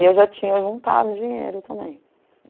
E eu já tinha juntado dinheiro também.